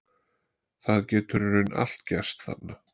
Það getur í raun allt gerst þarna.